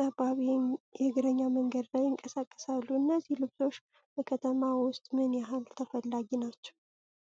ጠባብ የእግረኛ መንገድ ላይ ይንቀሳቀሳሉ። እነዚህ ልብሶች በከተማ ውስጥ ምን ያህል ተፈላጊ ናቸው?